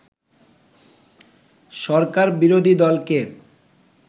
সরকার বিরোধী দলকে